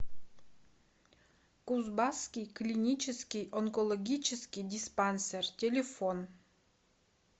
кузбасский клинический онкологический диспансер телефон